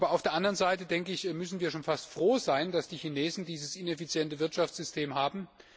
Auf der anderen Seite müssen wir schon fast froh sein, dass die Chinesen dieses ineffiziente Wirtschaftssystem haben.